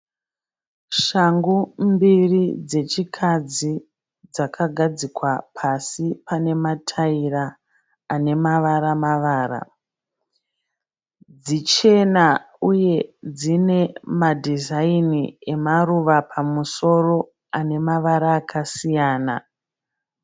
Shangu mbiri dzechikadzi dzakagadzikwa pasi pane mataira ane mavara mavara. Dzichena uye dzine madhizaini emaruva pamusoro ane mavara akasiyana.